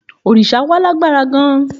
Òrìṣà wa lágbára gan-an.